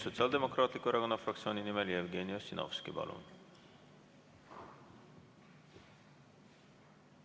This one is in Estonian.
Sotsiaaldemokraatliku Erakonna fraktsiooni nimel Jevgeni Ossinovski.